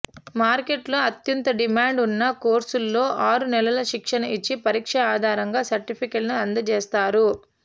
మార్కెట్లో అత్యంత డిమాండ్ ఉన్న కోర్సుల్లో ఆరు నెలలు శిక్షణ ఇచ్చి పరీక్ష ఆధారంగా సర్టిఫికెట్లను అందజేస్తారు